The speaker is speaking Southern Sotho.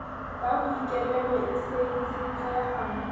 ka boikemelo e sa itshetleha